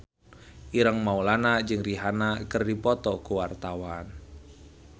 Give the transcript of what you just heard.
Ireng Maulana jeung Rihanna keur dipoto ku wartawan